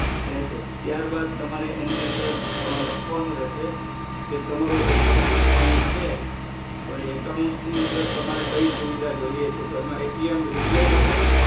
આવી શકે છે ત્યારબાદ તમારે એડ્રેસ બે નાખવાના રહે છે કે એક એડ્રેસ પર જો આપનો કોન્ટેક્ટ ના થાય તો બીજા એડ્રેસ પર અમે રિસૅન્ડ કરી શકીયે જે તમારું પરફેક્ટ એડ્રેસ હોય એજ એડ્રેસ તમારે જણાવાનું